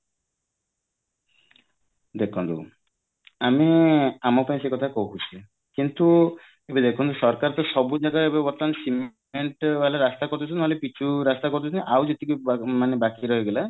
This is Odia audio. ଦେଖନ୍ତୁ ଆମେ ଆମେତ ସେ କଥା କହୁଚେ କିନ୍ତୁ ଦେଖନ୍ତୁ ସରକାର ତ ସବୁଯାକ ଏବେ ବର୍ତ୍ତମାନ ସିମେଣ୍ଟ ବାଲା ରାସ୍ତା କରିଦଉଛନ୍ତି କିମ୍ବା ପିଚୁ ରାସ୍ତା କରିଦଉଛନ୍ତି ଆଉ ଯେତିକି ମାନେ ବାକି ରହିଗଲା